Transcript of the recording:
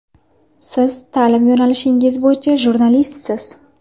Siz ta’lim yo‘nalishingiz bo‘yicha jurnalistsiz.